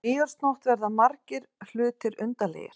Á nýársnótt verða margir hlutir undarlegir.